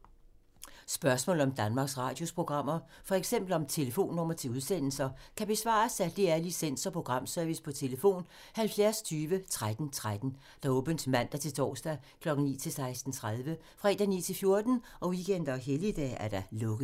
Spørgsmål om Danmarks Radios programmer, f.eks. om telefonnumre til udsendelser, kan besvares af DR Licens- og Programservice: tlf. 70 20 13 13, åbent mandag-torsdag 9.00-16.30, fredag 9.00-14.00, weekender og helligdage: lukket.